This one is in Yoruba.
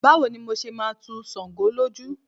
Báwo ni mo ṣe máa tu ṣàǹgó lójú.